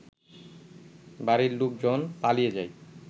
বাড়ির লোকজন পালিয়ে যায়